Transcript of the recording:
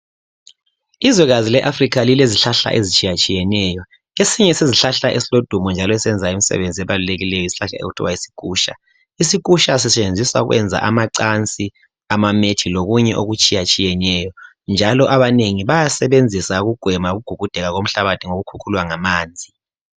Ilizwekazi leAfrica lilezihlahla ezitshiyatshiyeneyo, esinye sezihlahla esilodumo njalo esenza imsebenzi ebalulekileyo yisihlahla okuthiwa yisikhutsha. Isikhutsha sisebenzisa ukwenza amacansi amamethi lokunye okutshayatshiyeneyo njalo abanengi batasisebenzisa ukugwema ukugugudeka komhlabathi ngokukhukhulwa ngamanzi.